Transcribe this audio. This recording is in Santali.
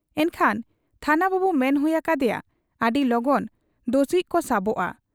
ᱮᱱᱠᱷᱟᱱ ᱛᱷᱟᱱᱟ ᱵᱟᱹᱵᱩ ᱢᱮᱱ ᱦᱩᱭ ᱟᱠᱟ ᱦᱟᱫᱮᱭᱟ ᱟᱹᱰᱤ ᱞᱚᱜᱚᱱ ᱫᱚᱥᱤᱡ ᱠᱚ ᱥᱟᱵᱚᱜ ᱟ ᱾